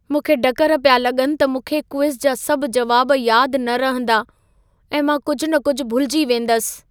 मूंखे ढकर पिया लॻनि त मूंखे क्विज़ जा सभ जवाब यादि न रहंदा ऐं मां कुझि न कुझि भुलिजी वेंदसि।